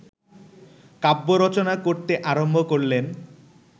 কাব্য রচনা করতে আরম্ভ করলেন